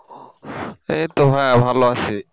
এইতো ভাইয়া ভালো আছি।